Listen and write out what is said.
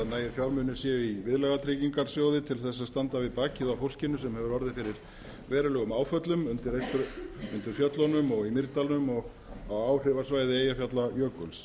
nægir fjármunir séu í viðlagatryggingasjóði til að standa við bakið á fólkinu sem hefur orðið fyrir verulegum áföllum undir fjöllunum og í mýrdalnum og á áhrifasvæði eyjafjallajökuls